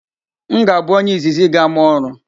M ga-abụ onye izizi ga-ama ọrụ.